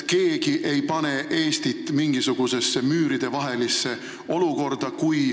Keegi ei pane Eestit kuhugi müüride vahele!